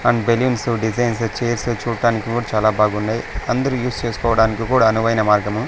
And balloons designs chairs చూడటానికి కూడా చాలా బాగున్నాయి అందరూ యూస్ చేసుకోవడానికి కూడా అనువైన మార్గము.